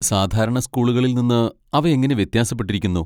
സാധാരണ സ്കൂളുകളിൽ നിന്ന് അവ എങ്ങനെ വ്യത്യാസപ്പെട്ടിരിക്കുന്നു?